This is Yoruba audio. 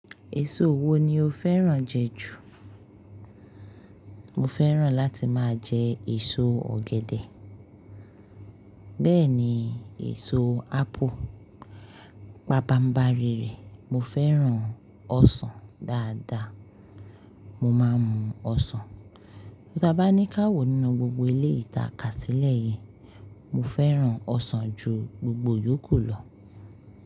Èso wo ni o fẹ́ràn jẹ jù? Mo fẹ́ràn láti máa jẹ èso ọ̀gẹ̀dẹ̀. Bẹ́ẹ̀ ni èso ápù, bàbá ń bá rírẹ́. Mo fẹ́ràn ọsàn dáadáa. Mo máa ń mu ọsàn. Tí a bá ní káwo nínú gbogbo eleyii ta Kasílẹ̀ yìí, mo fẹ́ràn ọsàn ju gbogbo yòókù lọ.